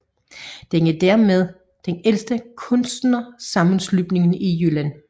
Den er dermed den ældste kunstnersammenslutning i Jylland